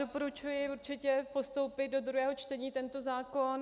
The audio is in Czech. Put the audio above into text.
Doporučuji určitě postoupit do druhého čtení tento zákon.